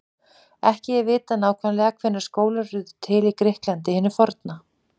Ekki er vitað nákvæmlega hvenær skólar urðu til í Grikklandi hinu forna.